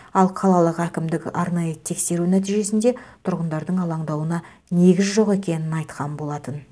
ал қалалық әкімдік арнайы тексеру нәтижесінде тұрғындардың алаңдауына негіз жоқ екенін айтқан болатын